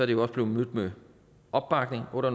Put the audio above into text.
det også blevet mødt med opbakning under